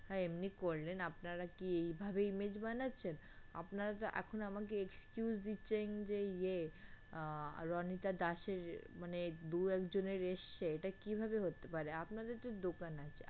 হ্যাঁ এমনি করলেনআপনারা কি এইভাবে image বানাচ্ছেন? আপনারা এখন আমাকে excuse দিচ্ছেন যে ইয়ে আহ রণিতা দাস এর মানে দু একজনের এসেছে এটা কীভাবে হতে পারে? আপনাদের তো দোকান আছে।